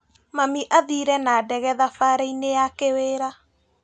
Mami athire na ndege thabarĩinĩ ya kĩwĩra.